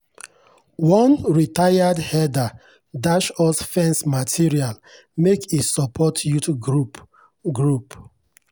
one retired herder dash us fence material make e support youth group. group.